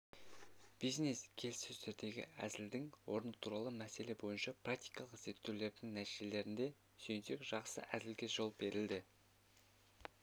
бизнес-келіссөздердегі әзілдің орны туралы мәселе бойынша практикалық зерттеулердің нәтижелеріне сүйенсек жақсы әзілге жол беріледі